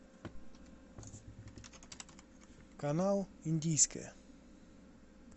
канал индийское